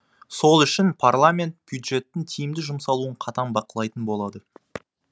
сол үшін парламент бюджеттің тиімді жұмсалуын қатаң бақылайтын болады